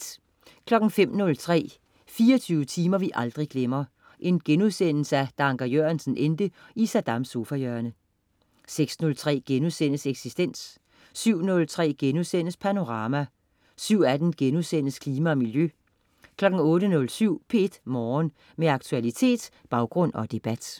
05.03 24 timer vi aldrig glemmer: Da Anker Jørgensen endte i Saddams sofahjørne* 06.03 Eksistens* 07.03 Panorama* 07.18 Klima og Miljø* 08.07 P1 Morgen. Med aktualitet, baggrund og debat